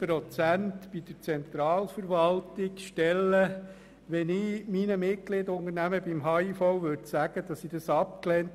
Wenn ich den Unternehmern, die Mitglieder des Handels- und Indust Dienstag (Abend)